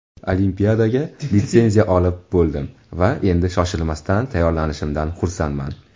Olimpiadaga litsenziya olib bo‘ldim va endi shoshilmasdan tayyorlanishimdan xursandman.